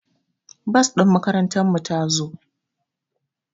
Bas ɗin makarantar mu ta zo